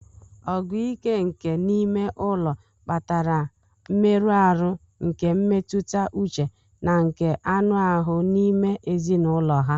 Ọgụ ike nke n'ime ụlọ kpatara mmerụ ahụ nke mmetụta uche na nke anụ ahụ n'ime ezinụlọ ha.